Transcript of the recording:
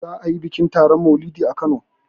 za a yi bikin maulidi a Kano